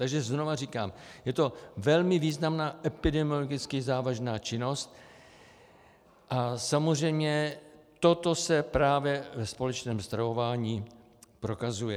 Takže znovu říkám, je to velmi významná epidemiologicky závažná činnost a samozřejmě toto se právě ve společném stravování prokazuje.